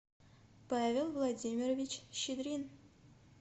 павел владимирович щедрин